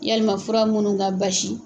Yalima fura munnu ka basi.